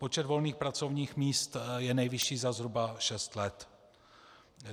Počet volných pracovních míst je nejvyšší za zhruba šest let.